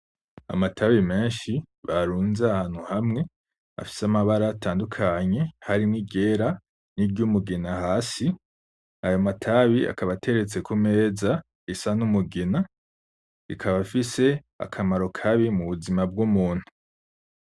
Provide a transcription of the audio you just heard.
Amatabi meshi barunze ahantu hamwe afise amabara atandukanye harimwo iryera ni ry'umugina hasi ayo matabi akaba ateretse ku meza isa n'umugina ikaba ifise akamaro kabi mu buzima bw'umuntu.